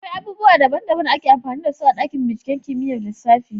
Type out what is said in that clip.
Akwai abubuwa daban-daban da ake amfani da su a dakin binciken kimiyyar lissafi.